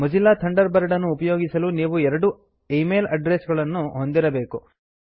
Mozilla Thunderbird ಅನ್ನು ಉಪಯೋಗಿಸಲು ನೀವು ಎರಡು ಈಮೈಲ್ ಅಡ್ರೆಸ್ ಗಳನ್ನು ಹೊಂದಿರಬೇಕು